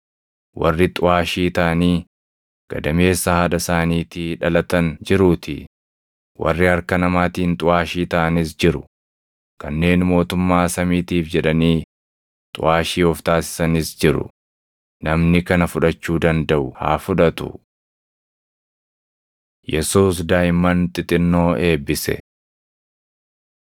Warri xuʼaashii taʼanii gadameessa haadha isaaniitii dhalatan jiruutii; warri harka namaatiin xuʼaashii taʼanis jiru; kanneen mootummaa samiitiif jedhanii xuʼaashii of taasisanis jiru; namni kana fudhachuu dandaʼu haa fudhatu.” Yesuus Daaʼimman Xixinnoo Eebbise 19:13‑15 kwf – Mar 10:13‑16; Luq 18:15‑17